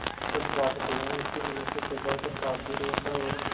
सच बात तो यह है कि मनुष्य स्वभावतः पापभीरु होता है और